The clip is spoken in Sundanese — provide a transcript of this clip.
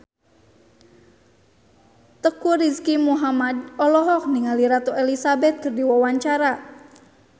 Teuku Rizky Muhammad olohok ningali Ratu Elizabeth keur diwawancara